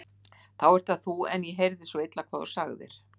Þá ert það þú en ég heyrði svo illa hvað þú sagðir.